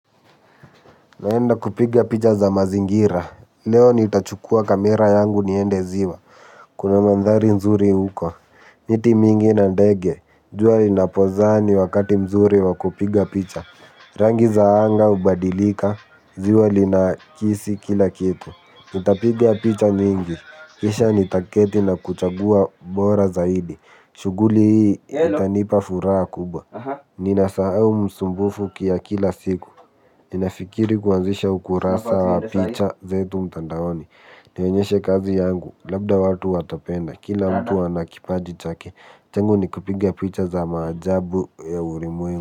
Naenda kupiga picha za mazingira, leo nitachukua kamera yangu niende ziwa. Kuna mandhari nzuri huko, miti mingi na ndege, jua linapozaa ni wakati mzuri wa kupiga picha. Rangi za anga hubadilika, ziwa linakisi kila kitu, nitapiga picha nyingi, kisha nitaketi na kuchagua bora zaidi. Shughuli hii itanipa furaha kubwa. Ninasahau msumbufu ya kila siku. Ninafikiri kuanzisha ukurasa picha zetu mtandaoni. Nionyeshe kazi yangu. Labda watu watapenda. Kila mtu ana kipaji chake changu ni kupiga picha za maajabu ya ulimwengu.